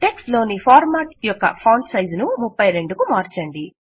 text లోని format యొక్క font size ను 32 కు మార్చండి